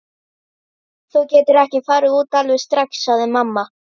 Þú getur ekki farið út alveg strax, sagði mamma.